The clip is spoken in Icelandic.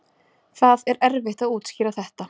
Það er erfitt að útskýra þetta